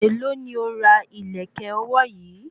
Èló ni o ra ìlẹ̀kẹ̀ ọwọ́ yìí?